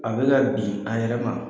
A bɛ ka bin a yɛrɛ ma.